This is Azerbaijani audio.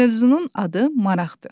Mövzunun adı Maraqdır.